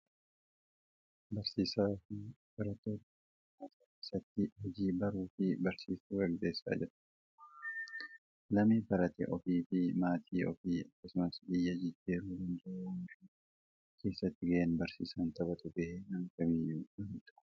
Barsiisaa fi barattoota daree barnootaa keessatti hojii baruu fi barsiisuu gaggeessaa jiran. Lammii baratee ofii fi maatii ofii akkasumas biyya jijjiiruu danda'u oomishuu keessatti gaheen barsiisaan taphatu gahee nama kamiiyyuu olidha.